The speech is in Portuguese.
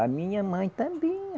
A minha mãe também.